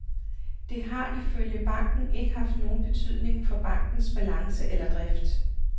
Det har ifølge banken ikke haft nogen betydning for bankens balance eller drift.